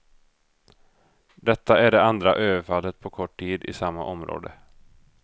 Detta är det andra överfallet på kort tid i samma område.